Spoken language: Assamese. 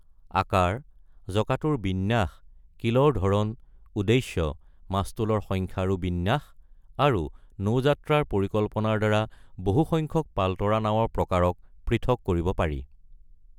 আকাৰ, জঁকাটোৰ বিন্যাস, কিলৰ ধৰণ, উদ্দেশ্য, মাস্তুলৰ সংখ্যা আৰু বিন্যাস, আৰু নৌযাত্ৰাৰ পৰিকল্পনাৰ দ্বাৰা বহু সংখ্যক পালতৰা নাৱৰ প্ৰকাৰক পৃথক কৰিব পাৰি।